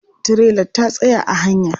Tirelar ta tsaya a hanya.